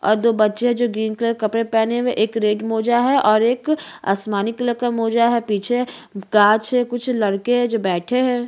और दो बच्चे हे जो ग्रीन कलर कपडे पहने हुए हे एक रेड मोजा हे और एक आसमानी कलर का मोजा हे पीछे कांच है कुछ जो लड़के है जो बैठे है।